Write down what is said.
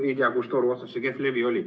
Ei tea, kus toru otsas see kehv levi oli.